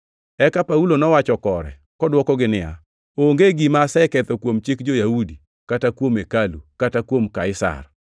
Eka Paulo nowacho kore, kodwokogi niya, “Onge gima aseketho kuom chik jo-Yahudi, kata kuom hekalu, kata kuom Kaisar.”